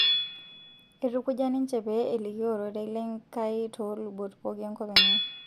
Eitukuja ninche pee elikio ororei lenkai too lubot pooki enkop enye